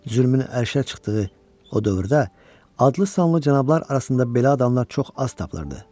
Zülmün ərşə çıxdığı o dövrdə adlı-sanlı cənablar arasında belə adamlar çox az tapılırdı.